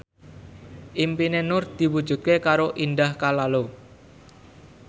impine Nur diwujudke karo Indah Kalalo